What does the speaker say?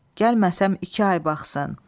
Gəlməsəm iki ay baxsın.